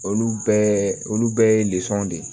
Olu bɛɛ olu bɛɛ ye de ye